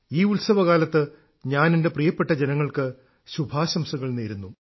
ഈ ഉത്സവകാലത്ത് ഞാൻ എന്റെ പ്രിയപ്പെട്ട ജനങ്ങൾക്ക് ശുഭാശംസകൾ നേരുന്നു